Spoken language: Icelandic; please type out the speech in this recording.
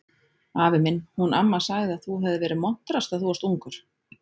Afi minn, hún amma sagði að þú hefðir verið montrass þegar þú varst ungur